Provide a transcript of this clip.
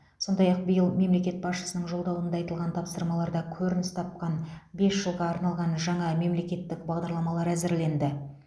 сондай ақ биыл мемлекет басшысының жолдауында айтылған тапсырмаларда көрініс тапқан бес жылға арналған жаңа мемлекеттік бағдарламалар әзірленді